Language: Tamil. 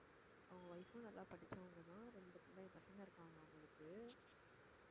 அவங்க wife ம் நல்லா படிச்சவங்கதான் ரெண்டு பிள்ளைங்~ பசங்க இருக்காங்க அவங்களுக்கு